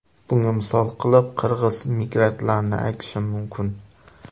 Bunga misol qilib qirg‘iz migrantlarini aytishim mumkin.